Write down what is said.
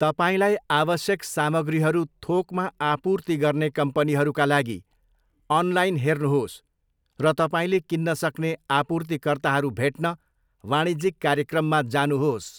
तपाईँलाई आवश्यक सामग्रीहरू थोकमा आपूर्ति गर्ने कम्पनीहरूका लागि अनलाइन हेर्नुहोस् र तपाईँले किन्न सक्ने आपूर्तिकर्ताहरू भेट्न वाणिज्यिक कार्यक्रममा जानुहोस्।